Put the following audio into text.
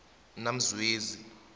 namzwezi